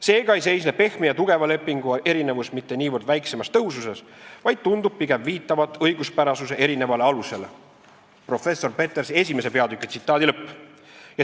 Seega ei seisne pehme ja tugeva lepingu erinevus mitte niivõrd väiksemas tõhususes, vaid tundub pigem viitavat õiguspärasuse erinevale alusele.